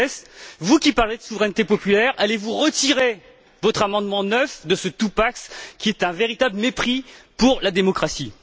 Gauzès vous qui parlez de souveraineté populaire, allez vous retirer votre amendement 9 de ce qui est un véritable mépris pour la démocratie?